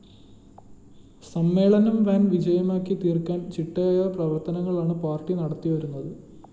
സമ്മേളനം വൻ വിജയമാക്കി തീര്‍ക്കാന്‍ ചിട്ടയായ പ്രവര്‍ത്തനങ്ങളാണ്‌ പാര്‍ട്ടി നടത്തിവരുന്നത്‌